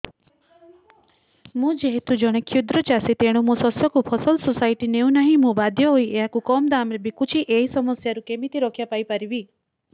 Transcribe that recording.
ମୁଁ ଯେହେତୁ ଜଣେ କ୍ଷୁଦ୍ର ଚାଷୀ ତେଣୁ ମୋ ଶସ୍ୟକୁ ଫସଲ ସୋସାଇଟି ନେଉ ନାହିଁ ମୁ ବାଧ୍ୟ ହୋଇ ଏହାକୁ କମ୍ ଦାମ୍ ରେ ବିକୁଛି ଏହି ସମସ୍ୟାରୁ କେମିତି ରକ୍ଷାପାଇ ପାରିବି